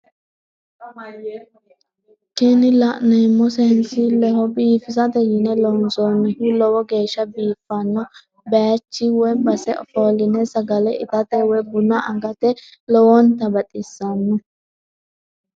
Kini la'neemohu seensilleho biifisate yine loonsoonnihu lowo geeshsha biifanno bayiichi woy base ofoline sagale itate woy buna agate lowontta baxisanno.